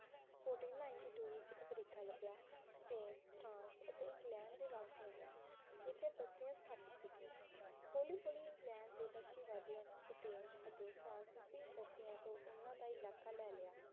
fourteen ninety two ਵਿਚ America ਲਭਿਆ Spain France ਅਤੇ ਇੰਗਲੈਂਡ ਦੇ ਵਾਸੀਆਂ ਨੇ ਇਥੇ ਬਸਤੀਆਂ ਸਥਾਪਿਤ ਕੀਤੀਆਂ ਹੋਲੀ ਹੋਲੀ ਇੰਗਲੈਂਡ ਦੇ ਬਸਤੀ ਵਾਦੀਆਂ ਨੇ ਸਪੇਨ ਅਤੇ ਫਰਾਂਸੀਸੀ ਬਸਤੀਆਂ ਤੋਂ ਓਹਨਾ ਦਾ ਇਲਾਕਾ ਲੈ ਲਿਆ